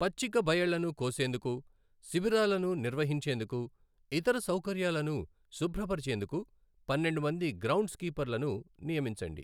పచ్చిక బయళ్లను కోసేందుకు, శిబిరాలను నిర్వహించేందుకు, ఇతర సౌకర్యాలను శుభ్రపరచెందుకు పన్నెండు మంది గ్రౌండ్స్కీపర్లను నియమించండి.